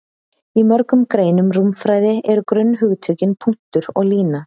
Í mörgum greinum rúmfræði eru grunnhugtökin punktur og lína.